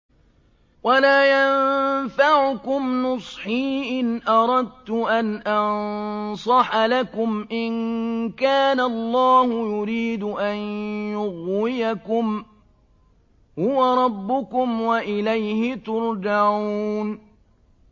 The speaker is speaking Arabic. وَلَا يَنفَعُكُمْ نُصْحِي إِنْ أَرَدتُّ أَنْ أَنصَحَ لَكُمْ إِن كَانَ اللَّهُ يُرِيدُ أَن يُغْوِيَكُمْ ۚ هُوَ رَبُّكُمْ وَإِلَيْهِ تُرْجَعُونَ